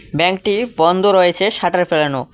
ব্যাঙ্কটি বন্দ রয়েছে শাটার ফেলানো।